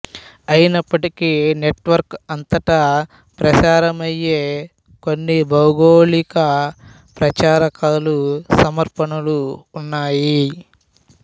అయినప్పటికీ నెట్వర్క్ అంతటా ప్రసారమమ్య్యే కొన్ని భౌగోళిక ప్రచారకాలు సమర్పణలు ఉన్నాయి